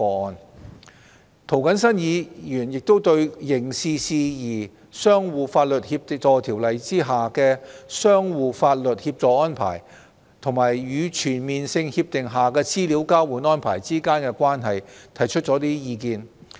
另外，涂謹申議員亦對《刑事事宜相互法律協助條例》下的相互法律協助安排，與全面性協定下的資料交換安排之間的關係，提出了一些意見。